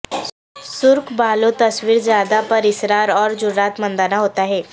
سرخ بالوں تصویر زیادہ پراسرار اور جرات مندانہ ہوتا ہے